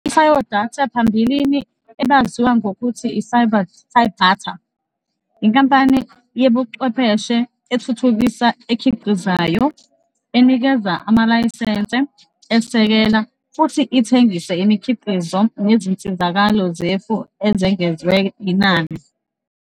ICyodata, phambilini ebaziwa ngokuthi yiCybatar, yinkampani yezobuchwepheshe ethuthukisa, ekhiqizayo, enikeze amalayisense, esekela, futhi ithengise imikhiqizo nezinsizakalo zefu ezengezwe inani.